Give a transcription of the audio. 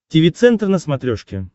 тиви центр на смотрешке